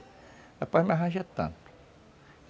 rapaz me arranja tanto.